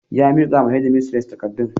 Ya mika wa shedimistres takardun.